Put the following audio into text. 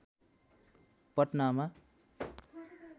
पटनामा